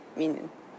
Minin.